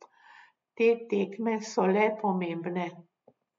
Te tekme so le pomembne.